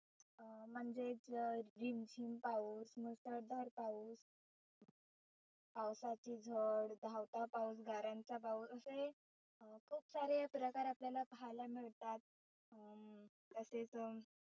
अं म्हणजे झिम झिम पाऊस, मुसळधार पाऊस, पावसाची झड, धावता पाऊस, गाऱ्यांचा पाऊस असे अं खुप सारे प्रकार आपल्याला पहायला मिळतात अह तसेच